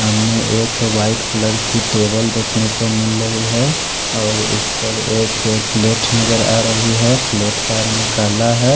सामने एक white colour की टेबल देख नो के मिल रहे है और इस पर एक प्लेट नजर आ रहे है प्लेट का रंग काला है।